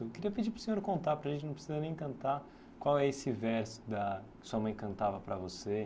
Eu queria pedir para o senhor contar para a gente, não precisa nem cantar, qual é esse verso da que a sua mãe cantava para você.